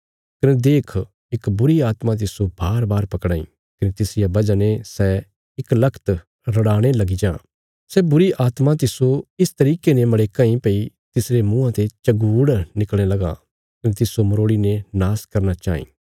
कने देख इक बुरीआत्मा तिस्सो बारबार पकड़ां इ कने तिसरिया वजह ने सै इकलगत रड़ाणे लगी जां सै बुरीआत्मां तिस्सो इस तरिके ने मड़ेकां इ भई तिसरे मुँआं ते झगूड़ निकल़णे लगां कने तिस्सो मरोड़ीने नाश करना चाईं